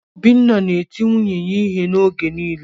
Obinna na-eti nwunye ya ihe oge niile